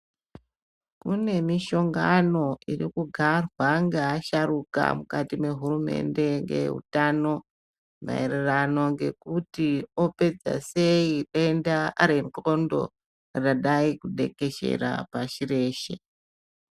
Kune mishongano iri kugarwa ngeasharuka mukati mehurumende ngeutano maererano ngekuti opedza sei denda rendxondo radai kutekeshera pashi reshe.